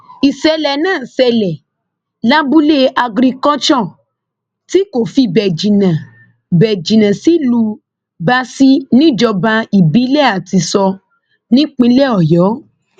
ìṣẹlẹ náà ṣẹlẹ lábúlé agriculture tí kò fi bẹẹ jìnnà bẹẹ jìnnà sílùú báàsì níjọba ìbílẹ àtìṣọ nípínlẹ ọyọ